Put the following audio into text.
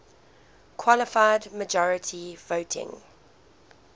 qualified majority voting